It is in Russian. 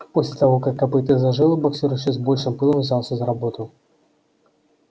после того как копыто зажило боксёр ещё с большим пылом взялся за работу